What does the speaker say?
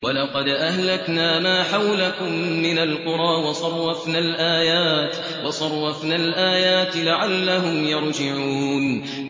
وَلَقَدْ أَهْلَكْنَا مَا حَوْلَكُم مِّنَ الْقُرَىٰ وَصَرَّفْنَا الْآيَاتِ لَعَلَّهُمْ يَرْجِعُونَ